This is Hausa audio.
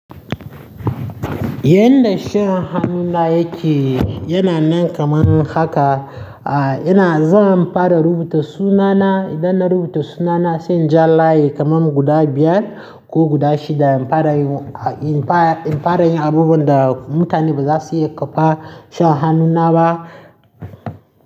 Ya dashen hannu na yake yana nan kaman haka, a ina zan fara rubuta sunana idan na rubuta sunana sai in ja layi kaman guda biyar ko guda shida in fara yin, in fara yin abubuwan da mutane bazasu iya kwafa shan hannu na ba.